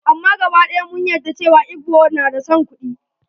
Amma gaba ɗaya mun yadda cewa Igbo na da son kuɗi.